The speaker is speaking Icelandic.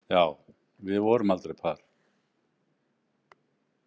Já, við vorum aldrei par.